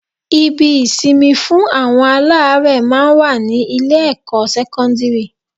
Ibi-ìsinmi fún àwọn aláárẹ̀ máa ń wà ní Ilé-ẹ̀kọ́ sẹ́kọ́ńdìrì